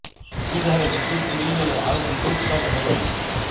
ସୁବିଧାରେ ବିଦ୍ୟୁତ୍ ମିଳି ଗଲେ ଆଉ ବିଦ୍ୟୁତ୍ କାଟ ହେବ ନାହିଁ